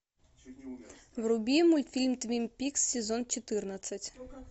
вруби мультфильм твин пикс сезон четырнадцать